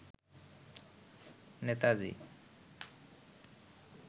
Netaji